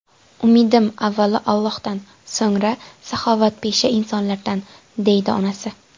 Umidim avvalo Allohdan, so‘ngra saxovatpesha insonlardan”, deydi onasi.